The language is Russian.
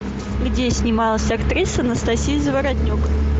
где снималась актриса анастасия заворотнюк